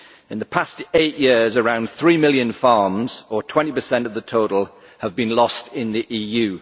In the past eight years, around three million farms, or 20 of the total, have been lost in the EU.